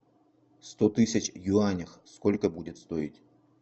сто тысяч в юанях сколько будет стоить